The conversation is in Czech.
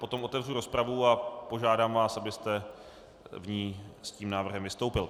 Potom otevřu rozpravu a požádám vás, abyste v ní s tím návrhem vystoupil.